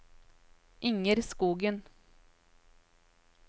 Inger Skogen